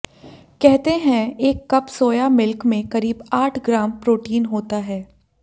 कहते हैं एक कप सोया मिल्क में करीब आठ ग्राम प्रोटीन होता है